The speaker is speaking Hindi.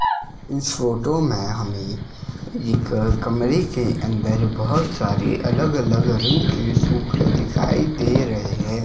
इस फोटो में हमें एक कमरे के अंदर बहोत सारी अलग अलग रंग के दिखाई दे रहे हैं।